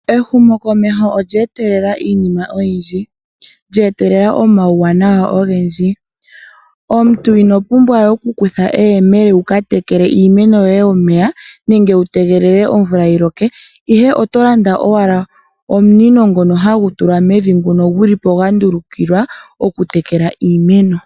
Ehumokomeho olya etelela iinima oyindji, lya etelela omauwanawa ogendji. Omuntu ino pumbwa we oku kutha eyemele wu ka tekele iimeno yo ye omeya nenge wu tegelele omvula yi loke, ihe oto landa owala omunino ngono ha gu tu lwa mevi nguno gu li po gwa ndulukiwa oku tekela iimeno.